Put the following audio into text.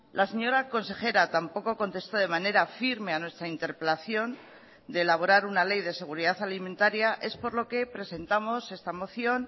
la señora consejera tampoco contestó de manera firme a nuestra interpelación de elaborar una ley de seguridad alimentaria es por lo que presentamos esta moción